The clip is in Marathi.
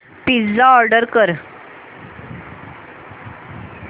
पिझ्झा ऑर्डर कर